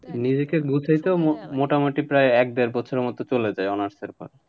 নিজেকে গোছাইতেও মো~ মোটামুটি প্রায় এক দেড় বছরের মতো চলে যায় honours এর পর।